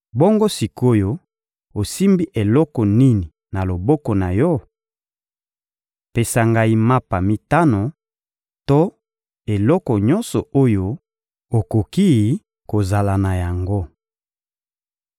Bongo sik’oyo, osimbi eloko nini na loboko na yo? Pesa ngai mapa mitano to eloko nyonso oyo okoki kozala na yango.